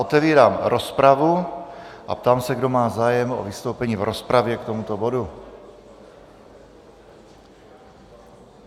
Otevírám rozpravu a ptám se, kdo má zájem o vystoupení v rozpravě k tomuto bodu.